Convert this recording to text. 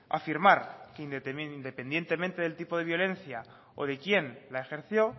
afirmar que independientemente del tipo de violencia o de quién la ejerció